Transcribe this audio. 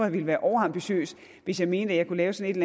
ville være overambitiøs hvis jeg mente at jeg kunne sætte